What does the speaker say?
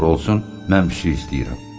Nə olur olsun, mən pişik istəyirəm.